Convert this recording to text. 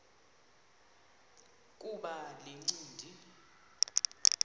kuba le ncindi